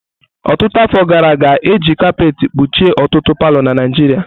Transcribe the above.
Ọtụtụ afọ gara aga, e ji kapet kpuchie ọtụtụ palọ na Naijiria.